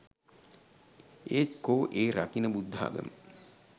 ඒත් කෝ ඒ රකින බුද්ධාගම